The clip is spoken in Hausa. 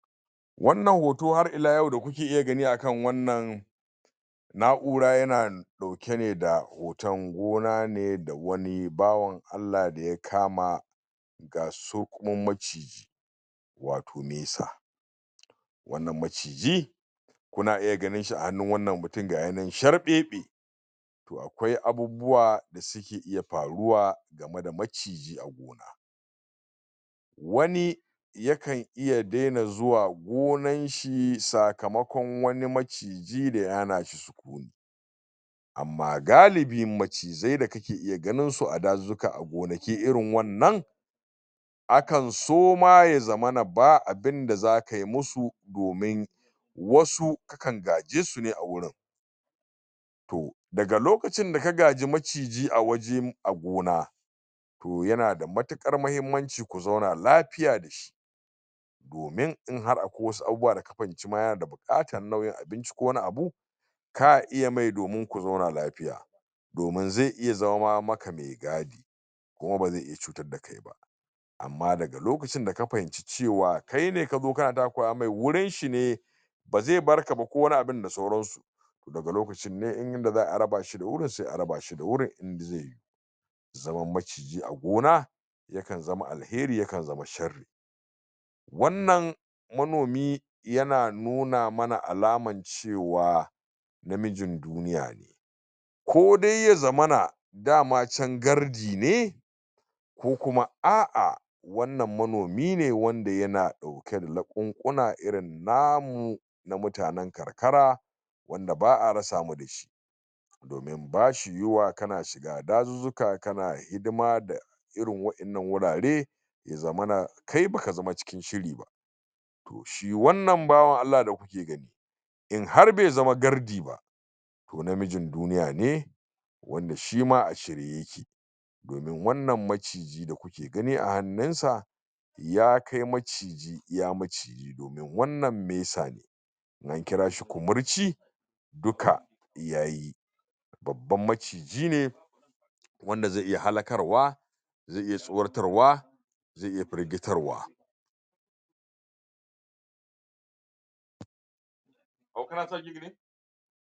wannan hoto har ila yau da kuke iya gani akan wannan na'ura yana dauke neda hoton gona ne da wani bawan allah da ya kama ƙasurgumin maciji wato mesa wannan maciji kuna iya ganinshi a hannun wannan mutumin gayi nan sharbebe akwai abubuwa da suke iya faruwa game da maciji a gona wani yakan iya daina zuwa gonanshi sakamakon wani maciji da hana shi sukuni amma galibin macizai da kake iya ganinsu a dazuzuka a gonaki irin wannan akan so ma ya zamana ba zakayi musu domin wasu ka kan gaje su ne awajen daga lokacin da maciji awaje a gona toh yana da matukar muhimmanci ku zauna lafiya dashi domin inhar akwai wasu abubuwa da ha fahimci ma yana bukatar nau'in abinci ko wani abu ka iya mai domin ku zauna lafiya domin zai iya zama maka mai gadi kuma bazai iya cutar da kaiba amma daga lokacin da da ka fahimci cewa kaine kazo kana takura mai wurin shi ne bazai barka ba ko wani abun da sauransu daga lokacin ne in da yadda za'ayi a raba shi wurin ne sai araba shi zaman maciji a gona yakan zama alheri yakan zama sharri wannan yana nuna mana alman cewa na mijin duniya ne kodai yaza mana da ma can gardi ne ko kuma a a wannan manomi ne wanda ya na dauke da laqunquna irin namu na mutanen karkara wanda ba'a rasa mu dashi dumin bashi yuyuwa kana dazuzuka kana hidima da irin wa'innan wurare yaza mana kai baka zama cikin shiri ba to shi wannan bawan allah da kuke gani in har baizama gardi ba to namijin duniya ne wanda shima a shirye yake domin wannan maciji da ku ke gani a hannunsa ya kai maciji iya maviji domin wannan mesa ne ko ka kirashi kumurci duka yayi babban maciji ne wanda zai iya halakarwa zai iya tsoratarwa zai iya firgitarwa?